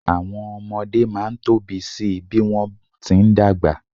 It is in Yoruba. Àwọn ọmọdé máa ń tóbi si bí wọ́n ti ń dàgbà.